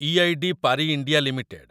IED Parry India limited